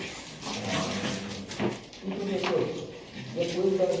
Ah, não é mesmo. E professor, depois da